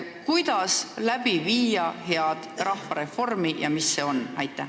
Kuidas viia läbi head rahvareformi ja mis see on?